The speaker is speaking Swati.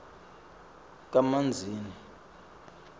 kamanzini